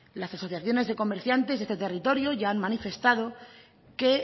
las asociaciones de comerciantes de este territorio ya han manifestado que